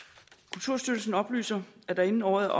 kulturstyrelsen oplyser at der inden året er